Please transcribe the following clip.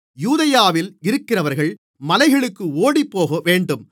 யூதேயாவில் இருக்கிறவர்கள் மலைகளுக்கு ஓடிப்போகவேண்டும்